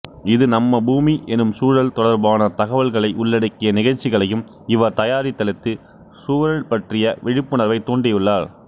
இது நம்ம பூமி எனும் சூழல் தொடர்பான தகவல்களை உள்ளடக்கிய நிகழ்ச்சிகளையும் இவர் தயாரித்தளித்து சூழல் பற்றிய விழிப்புணர்வைத் தூண்டியுள்ளார்